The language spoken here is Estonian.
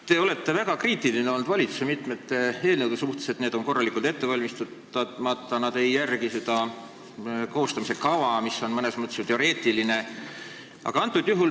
Te olete olnud väga kriitiline valitsuse mitme eelnõu suhtes – need on korralikult ette valmistamata ega järgi seda koostamise kava, mis on mõnes mõttes ju teoreetiline.